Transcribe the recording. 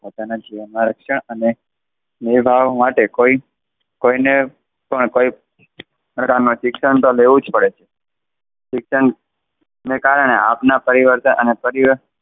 પોતાના જીવનમાં રક્ષણ અને નિભાવ માટે કોઈ કોઈને પણ કોઈ શિક્ષણ તો લેવું જ પડે. શિક્ષણને કારણે આપણા પરિવર્તન અને પરી,